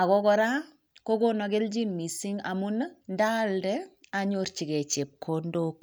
ago koraa kogonon kelchin mising' amuun iih ndaalde anyorchigee chepkondook